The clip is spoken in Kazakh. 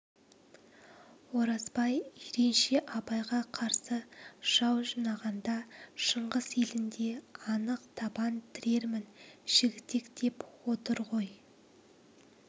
оразбай жиренше абайға қарсы жау жинағанда шыңғыс елінде анық табан тірерім жігітек деп отыр ғой